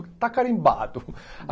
Está carimbado.